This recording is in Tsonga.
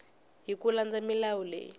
hi ku landza milawu leyi